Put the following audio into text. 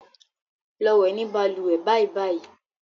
Lọ wẹ̀ ní balùwẹ̀ bàìbàì.